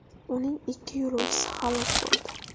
Uning ikki yo‘lovchisi halok bo‘ldi.